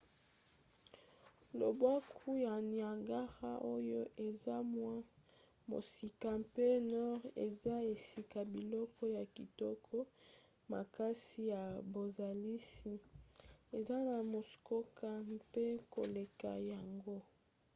lobwaku ya niagara oyo eza mwa mosika mpe nord eza esika biloko ya kitoko makasi ya bozalisi eza na muskoka mpe koleka yango